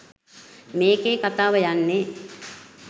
මේකේ කතාව යන්නේ